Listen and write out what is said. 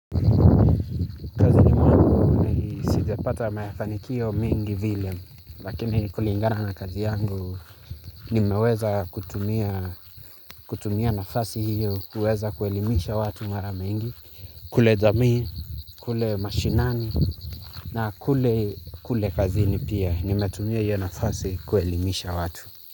Sijapata mafanikio mengi vile, lakini kulingana na kazi yangu, nimeweza kutumia nafasi hiyo, kuweza kuelimisha watu mara mingi, kule jamii, kule mashinani, na kule kazini pia, nimetumia hiyo nafasi kuelimisha watu.